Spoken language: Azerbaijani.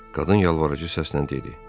Qadın yalvarıcı səslə dedi.